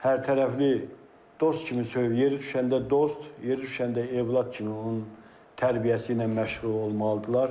Hərtərəfli dost kimi söy, yeri düşəndə dost, yeri düşəndə övlad kimi onun tərbiyəsi ilə məşğul olmalıdırlar.